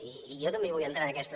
i jo també hi vull entrar en aquests